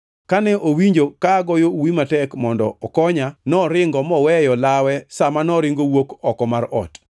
Kane owinjo ka agoyo uwi matek mondo okonya, noringo moweyo lawe sa ma noringo owuok oko mar ot.”